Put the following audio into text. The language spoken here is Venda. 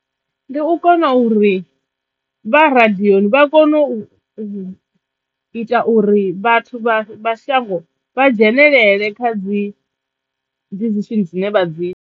Ndi u kona uri vha radiyoni vha kono u u ita uri vhathu vha shango vha dzhenelele kha dzi dzi decision dzine vha dzi ita.